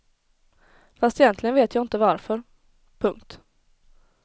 Fast egentligen vet jag inte varför. punkt